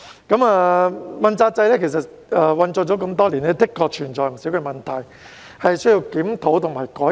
主要官員問責制實施多年，的確存在不少問題，是需要檢討和改革。